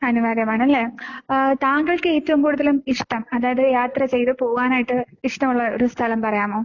അനിവാര്യമാണല്ലേ? ഏഹ് താങ്കൾക്ക് ഏറ്റവും കൂടുതൽ ഇഷ്ടം അതായത് യാത്ര ചെയ്തു പോവാനായിട്ട് ഇഷ്ടമുള്ള ഒരു സ്ഥലം പറയാമോ?